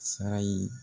Sara ye